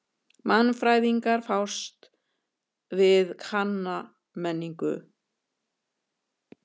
Mannfræðingar fást við kanna menningu.